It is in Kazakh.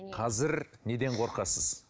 қазір неден қорқасыз